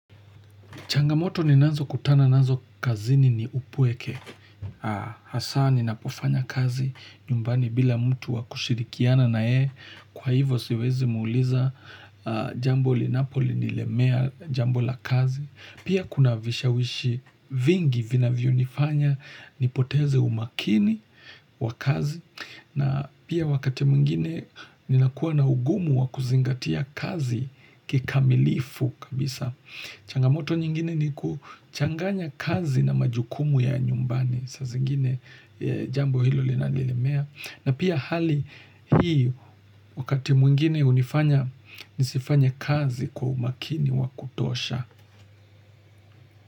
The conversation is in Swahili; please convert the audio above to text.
Changamoto ni nazo kutana nazo kazini ni upweke. Haa, hasa ni napofanya kazi, nyumbani bila mtu wakushirikiana na yeye. Kwa hivo siwezi muuliza jambo linapoli nilemea jambo la kazi. Pia kuna vishawishi vingi vina vyonifanya, nipoteze umakini wa kazi. Na pia wakati mwingine, ni nakua na ugumu wa kuzingatia kazi kikamilifu kabisa. Changamoto nyingine ni kuchanganya kazi na majukumu ya nyumbani saa zingine jambo hilo linalilemea na pia hali hii wakati mwingine hunifanya nisifanye kazi kwa umakini wakutosha.